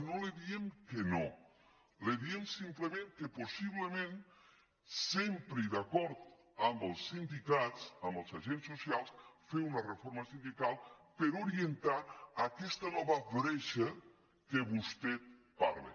no li diem que no li diem simplement possiblement sempre i d’acord amb els sindicats amb els agents socials fer una reforma sindical per orientar aquesta nova bretxa de què vostè parla